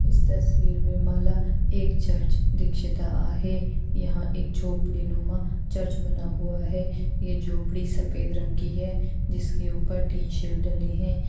इस तसवीर में माला एक चर्च दीक्षित आहे यहाँ एक झोपड़ी में चर्च बना हुआ है ये झोपड़ी सफेद रंग की है जिनके ऊपर तीन शेड डलें हुए हैं।